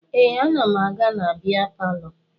Ee, ana m aga na bịa palọ